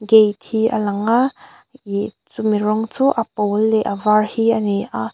gate hi a lang a ihh chu mi rawng chu a pawl leh a var hi ani a.